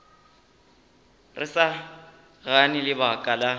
re sa gane lebaka la